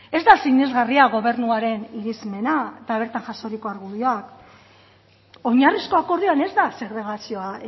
ez da sinesgarria gobernuaren irismena eta bertan jasoriko argudioak oinarrizko akordioan ez da segregazioa